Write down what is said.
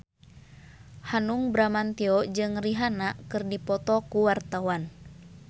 Hanung Bramantyo jeung Rihanna keur dipoto ku wartawan